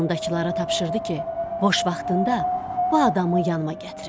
Yanındakılara tapşırdı ki, boş vaxtında bu adamı yanıma gətirin.